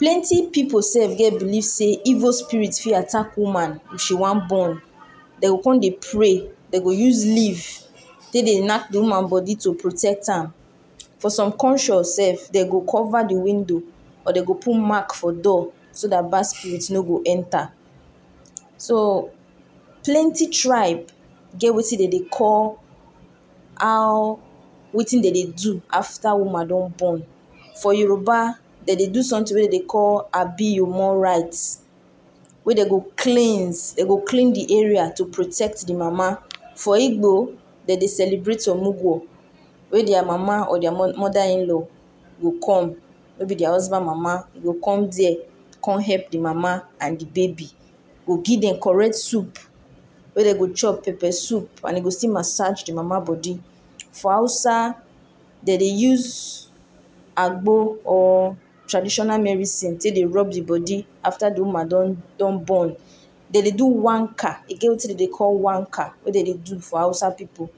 Plenti pipu sef get believe sey evil spirit fit attack woman if she wan born, dem go con de pray, dey go use leaf tek dey knack di woman bodi to protect am. For some conscious sef de go cover di window or de go put mark for door so dat bad spirit no go enter. So plenty tribe get wetin de dey call how wetin dey de do after woman don born. For Yoruba dey dey do something wey dem dey call abiomo rites wey dem go cleans dem go clean di area to protect di mama. For Ibo dey de celebrate Omugo were dia mama or mother in law go come may be dia husband mama go come hep di mama and di baby go give dem correct soup wey dey go chop pepper soup and de still massage di mama bodi. For Hausa dey de use agbo or traditional medicine te dey rub di bodi after di woman don born. Dey de do wannka, e get wetin dem dey call wannka wey dey de do for Hausa pipu.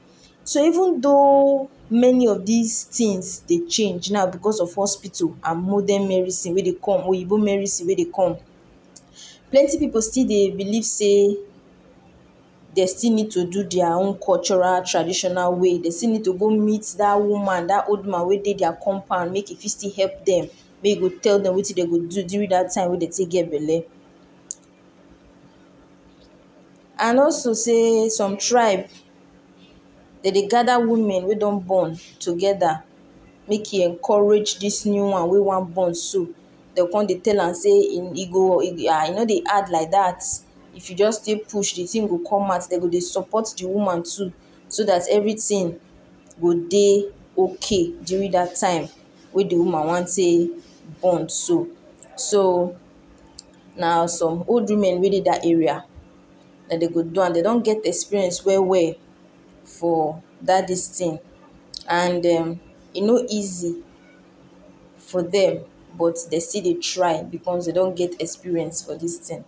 So even though many of dis tins de change now, becos of hospital and modern merisins wey dey com wey dey day medisin wey de com. Plenti pipu still believe say dey still nid to do dia own cultural traditional way, dey still nid to go meet day cultural woman, dat old woman wey de diya compound mek it still hep dem may you go tell dem which dey go do during day time wen dey tek get belle. And also sey some tribe dey de gather women wey don born together mek e encourage dis new one wey wan born so, dey con de tell her dey e e go no de add like dat if you jus sey push di tin go commot de go de support di woman too, so dat everything go dey ok during dat time wey di woman wan dey born so. So na some old woman wey dey dat area, and go do am, dey don get experience well well for dat dis tin and dem e no easy for dem but dey still dey try becos dey don get experience for dis tin.